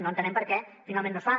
no entenem per què finalment no es fa